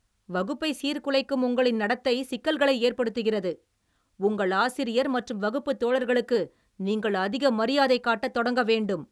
வகுப்பைச் சீர்குலைக்கும் உங்களின் நடத்தை சிக்கல்களை ஏற்படுத்துகிறது, உங்கள் ஆசிரியர் மற்றும் வகுப்பு தோழர்களுக்கு நீங்கள் அதிக மரியாதை காட்டத் தொடங்க வேண்டும்.